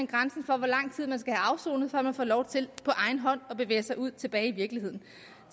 grænsen for hvor lang tid man skal have afsonet før man får lov til på egen hånd at bevæge sig ud og tilbage i virkeligheden